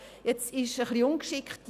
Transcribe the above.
Jetzt ist es ein bisschen ungeschickt.